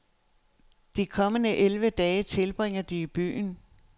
De kommende elleve dage tilbringer de i byen.